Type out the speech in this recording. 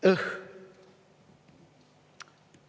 Õh!